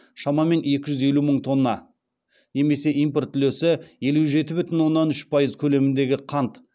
шамамен екі жүз елу мың тонна немесе импорт үлесі елу жеті бүтін оннан үш пайыз көлеміндегі қант